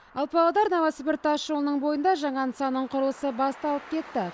ал павлодар новосібір тасжолының бойында жаңа нысанның құрылысы басталып кетті